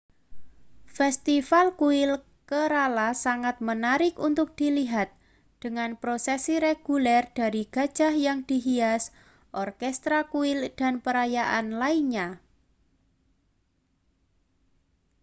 festival kuil kerala sangat menarik untuk dilihat dengan prosesi reguler dari gajah yang dihias orkestra kuil dan perayaan lainnya